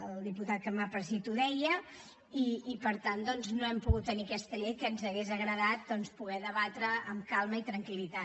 el diputat que m’ha precedit ho deia i per tant doncs no hem pogut tenir aquesta llei que ens hauria agradat poder debatre amb calma i tranquil·litat